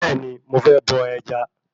Bẹ́ẹ̀ni, mo fẹ́ bọ ẹja